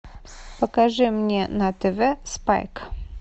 покажи мне на тв спайк